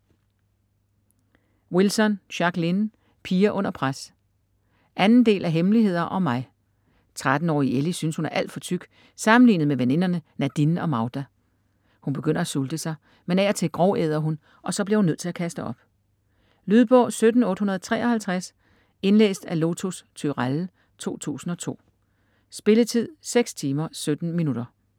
Wilson, Jacqueline: Piger under pres 2. del af hemmeligheder om mig. 13-årige Ellie synes, hun er alt for tyk sammenlignet med veninderne Nadine og Magda. Hun begynder at sulte sig, men af og til grovæder hun, og så bliver hun nødt til at kaste op. Lydbog 17853 Indlæst af Lotus Turéll, 2002. Spilletid: 6 timer, 17 minutter.